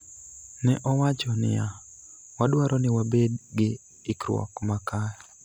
Ne owacho niya: �Wadwaro ni wabed gi ikruok ma kare.�